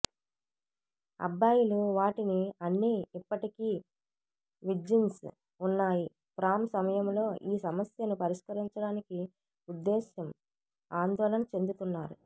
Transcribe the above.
అబ్బాయిలు వాటిని అన్ని ఇప్పటికీ విర్జిన్స్ ఉన్నాయి ప్రాం సమయంలో ఈ సమస్యను పరిష్కరించడానికి ఉద్దేశం ఆందోళన చెందుతున్నారు